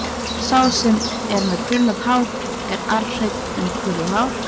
Sá sem er með krullað hár er arfhreinn um krullað hár.